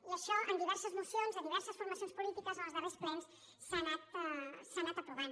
i això en diverses mocions de diverses formacions polítiques en els darrers plens s’ha anat aprovant